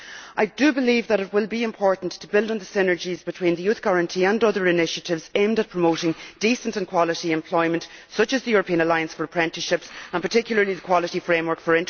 I do believe that it will be important to build on the synergies between the Youth Guarantee and other initiatives aimed at promoting decent and quality employment, such as the European Alliance for Apprenticeships and particularly the Quality Framework for Traineeships